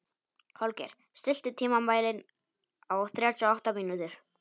Holgeir, stilltu tímamælinn á þrjátíu og átta mínútur.